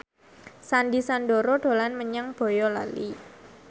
Sandy Sandoro dolan menyang Boyolali